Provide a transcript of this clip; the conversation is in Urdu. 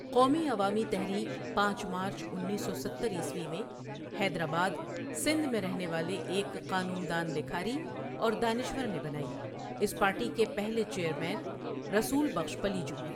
قومی عوامی تحريک پانچ مارچ انیس سو ستر عیسوی میں حیدرآباد، سندھ میں رہنے والے ایک قانون دان، لیکھاری، اور دانشور نے بنائی اس پارٹی کے پہلے چیئرمین رسول بخش پلیجو ہیں۔